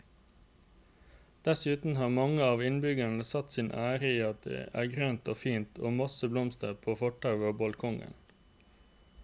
Dessuten har mange av innbyggerne satt sin ære i at det er grønt og fint og masse blomster på fortau og balkonger.